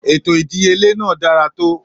Ètò ìdíyelé náà dára tó.